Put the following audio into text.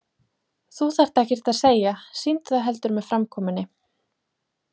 Þú þarft ekkert að segja, sýndu það heldur með framkomunni.